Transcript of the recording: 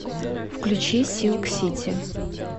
включи силк сити